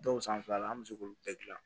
Dɔw san fila an bɛ se k'olu bɛɛ gilan